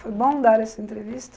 Foi bom dar essa entrevista?